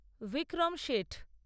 Vikram Seth